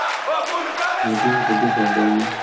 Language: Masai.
meetii nkujit oldonyo